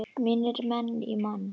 Mínir menn í Man.